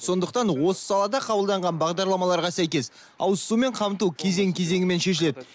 сондықтан осы салада қабылданған бағдарламаларға сәйкес ауызсумен қамту кезең кезеңмен шешіледі